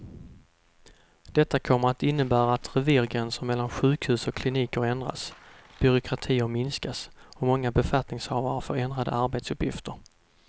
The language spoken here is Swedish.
Detta kommer att innebära att revirgränser mellan sjukhus och kliniker ändras, byråkratier minskas och många befattningshavare får ändrade arbetsuppgifter.